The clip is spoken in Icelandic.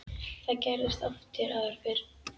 Það gerðist oft hér áður fyrr.